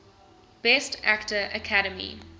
best actor academy